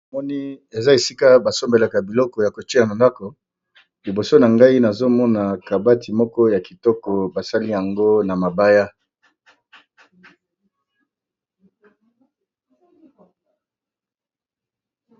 Na moni eza esika ba sombelaka biloko ya kotie na ndako, liboso na ngai nazo mona kabati moko ya kitoko basali yango na mabaya.